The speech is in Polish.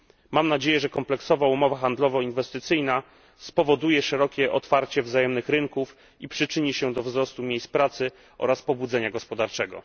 Mam nadzieję, że kompleksowa umowa handlowo inwestycyjna spowoduje szerokie otwarcie wzajemnych rynków i przyczyni się do wzrostu miejsc pracy oraz pobudzenia gospodarczego.